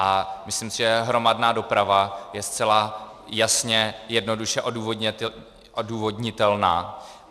A myslím si, že hromadná doprava je zcela jasně, jednoduše odůvodnitelná.